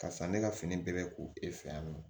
Karisa ne ka fini bɛrɛ ko e fɛ yan nɔ